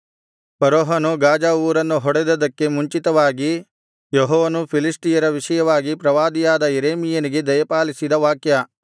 ಫರೋಹನು ಗಾಜಾ ಊರನ್ನು ಹೊಡೆದದ್ದಕ್ಕೆ ಮುಂಚಿತವಾಗಿ ಯೆಹೋವನು ಫಿಲಿಷ್ಟಿಯರ ವಿಷಯವಾಗಿ ಪ್ರವಾದಿಯಾದ ಯೆರೆಮೀಯನಿಗೆ ದಯಪಾಲಿಸಿದ ವಾಕ್ಯ